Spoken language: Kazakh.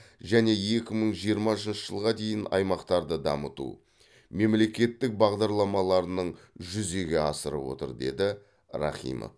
және екі мың жиырмасыншы жылға дейін аймақтарды дамыту мемлекеттік бағдарламаларының жүзеге асырып отыр деді рахимов